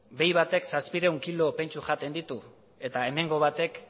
behi batek zazpiehun kilo pentsu jaten ditu eta hemengo batek